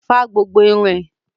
Fá gbogbo irun ẹ!